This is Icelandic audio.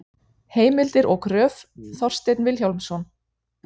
Heimildir og gröf: Þorsteinn Vilhjálmsson.